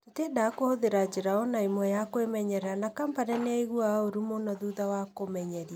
Tũtiendaga kũhũthĩra njĩra o na ĩmwe ya kwĩmenyerera na Kompany nĩ aaiguaga ũũru mũno thutha wa kũmenyeria.